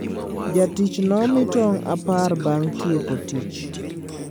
Jatich nomii tong apar bang tieko tich